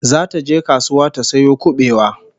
Zata je kasuwa ta sayo kubewa